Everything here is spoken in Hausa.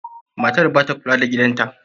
Matar ba ta kula da gidan ta.